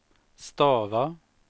stava